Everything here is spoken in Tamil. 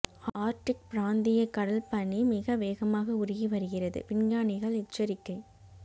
ஆர்ட்டிக் பிராந்திய கடல் பனி மிக வேகமாக உருகி வருகிறது விஞ்ஞானிகள் எச்சரிக்கை